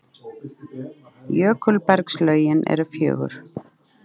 Jökulbergslögin eru fjögur.